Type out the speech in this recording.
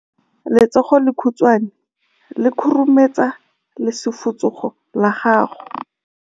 Letsogo le lekhutshwane le khurumetsa lesufutsogo la gago.